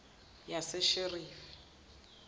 yasesheferi